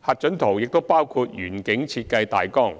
核准圖也包括園景設計大綱，